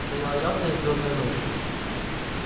стояла ясная звёздная ночь